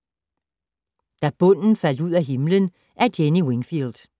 Da bunden faldt ud af himlen af Jenny Wingfield